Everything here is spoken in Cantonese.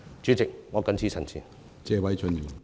主席，我謹此陳辭。